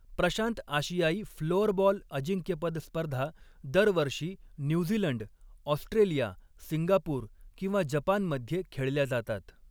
प्रशांत आशियाई फ्लोअरबॉल अजिंक्यपद स्पर्धा दरवर्षी न्यूझीलंड, ऑस्ट्रेलिया, सिंगापूर किंवा जपानमध्ये खेळल्या जातात.